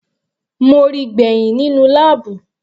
Mo ríi gbẹ̀hìn nínú láàbù.